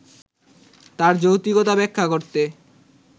তার যৌক্তিকতা ব্যাখ্যা করতে